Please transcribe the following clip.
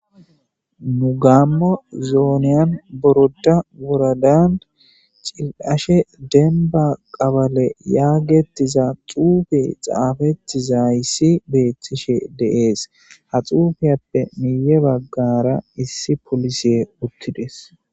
nu gaammo zooniyan boroda wuradaan cil'ashe denba qabale yaagettiza xuufi xaafettizayssi beethtishe dee'es ha xuufiyappe miiye baggara issi polise uttides